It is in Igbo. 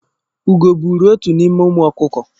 Ugo buru otu n'ime ụmụ ọkụkọ